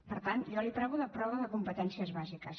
per tant jo li parlo de prova de competències bàsiques